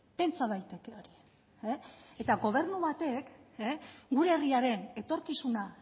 pentsa daiteke hori e eta gobernu batek gure herriaren etorkizuna